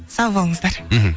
сау болыңыздар мхм